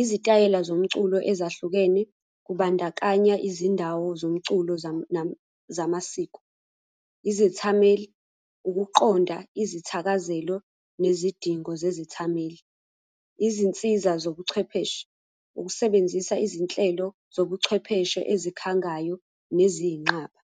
Izitayela zomculo ezahlukene, kubandakanya izindawo zomculo zamasiko. Izethameli, ukuqonda izithakazelo, nezidingo zezithameli. Izinsiza zobuchwepheshe, ukusebenzisa izinhlelo zobuchwepheshe ezikhangayo neziyinqaba.